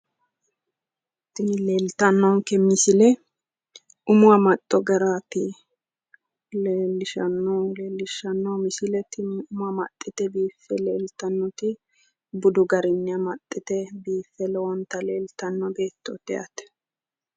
Tini leeltannonke misile umu amaxxo garaati. Leellishshannohu misile tini umo amaxxite biife leeltannoti budu garinni amaxxite biife lowonta leelttanno beettooti yaate.